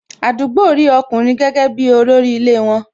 Àdúgbò rí ọkùnrin gẹ́gẹ́ bi olórí ilé won